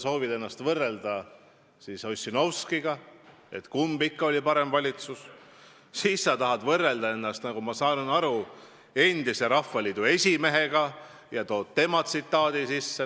Kord sa viitad Ossinovskile ja soovid teada, kumb ikka oli parem valitsus, siis sa viitad, nagu ma aru saan, endisele Rahvaliidu esimehele ja tsiteerid teda.